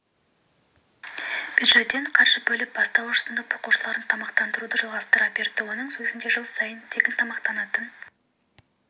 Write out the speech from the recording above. бюджеттен қаржы бөліп бастауыш сынып оқушыларын тамақтандыруды жалғастыра берді соның өзінде жыл сайын тегін тамақтанатын